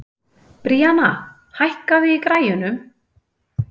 Bríanna, hækkaðu í græjunum.